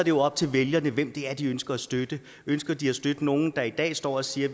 jo op til vælgerne hvem det er de ønsker at støtte ønsker de at støtte nogle der i dag står og siger at